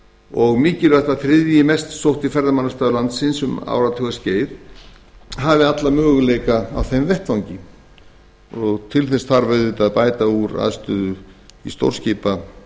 og mikilvægt að þriðji mest sótti ferðamannastaður landsins um áratugaskeið hafi alla möguleika á þeim vettvangi og til þess þarf auðvitað að bæta úr aðstöðu á